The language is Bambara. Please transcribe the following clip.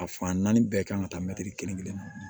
A fan naani bɛɛ kan ka taa mɛtiri kelen kelen